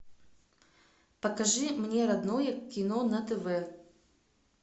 покажи мне родное кино на тв